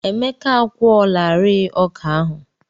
Emeka a kwụọlarịị ọkà ahụ.